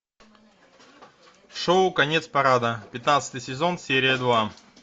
шоу конец парада пятнадцатый сезон серия два